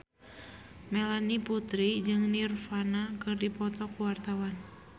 Melanie Putri jeung Nirvana keur dipoto ku wartawan